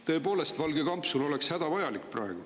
Tõepoolest, valge kampsun oleks hädavajalik praegu.